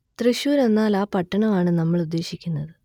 തൃശ്ശൂർ എന്നാൽ ആ പട്ടണം ആണ് നമ്മൾ ഉദ്ദേശിക്കുന്നത്